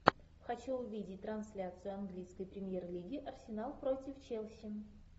хочу увидеть трансляцию английской премьер лиги арсенал против челси